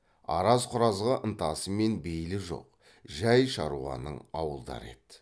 араз құразға ынтасы мен бейілі жоқ жай шаруаның ауылдары еді